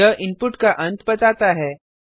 यह इनपुट का अंत बताता है